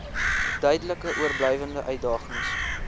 duidelik oorblywende uitdagings